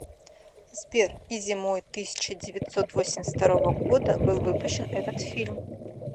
сбер и зимой тысяча девятьсот восемьдесят второго года был выпущен этот фильм